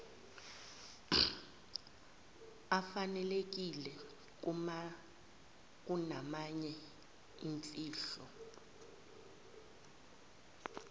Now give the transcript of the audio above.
afanelekile kunamanye imfihlo